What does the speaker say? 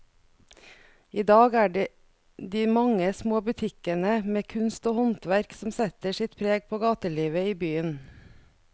I dag er det de mange små butikkene med kunst og håndverk som setter sitt preg på gatelivet i byen.